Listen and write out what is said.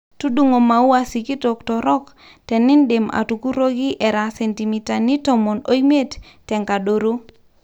tudungo maua sikitok torook tenidim atukuroki era sentimitani tomon oimiet tenkadaro